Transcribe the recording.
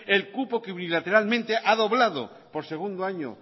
el cupo que unilateralmente ha doblado por segundo año